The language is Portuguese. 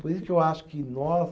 Por isso que eu acho que nós,